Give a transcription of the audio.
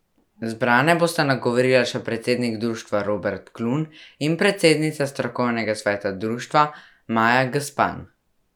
Zbrane bosta nagovorila še predsednik društva Robert Klun in predsednica strokovnega sveta društva Maja Gspan.